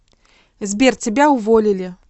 сбер тебя уволили